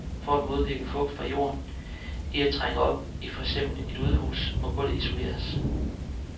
For at modvirke fugt fra jorden i at trænge op i for eksempel et udhus, må gulvet isoleres.